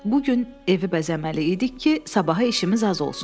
Bu gün evi bəzəməli idik ki, sabaha işimiz az olsun.